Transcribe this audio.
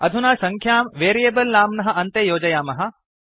अधुना सङ्ख्यां वेरियेबल् नाम्नः अन्ते योजयामः